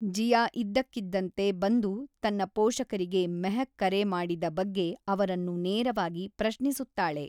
ಜಿಯಾ ಇದ್ದಕ್ಕಿದ್ದಂತೆ ಬಂದು ತನ್ನ ಪೋಷಕರಿಗೆ ಮೆಹಕ್ ಕರೆ ಮಾಡಿದ ಬಗ್ಗೆ ಅವರನ್ನು ನೇರವಾಗಿ ಪ್ರಶ್ನಿಸುತ್ತಾಳೆ.